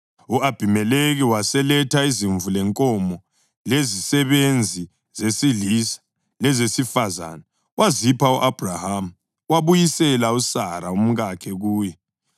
U-Abhimelekhi waseletha izimvu lenkomo, lezisebenzi zesilisa lezesifazane wazipha u-Abhrahama, wabuyisela uSara umkakhe kuye.